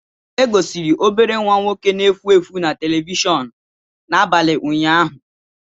E gosiri obere nwa nwoke na-efu efu na telivishọn n'abalị ụnyaahụ.